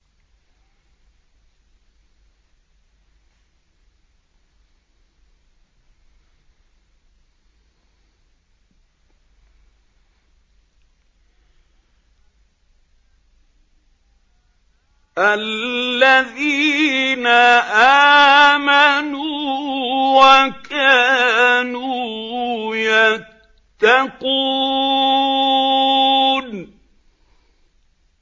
الَّذِينَ آمَنُوا وَكَانُوا يَتَّقُونَ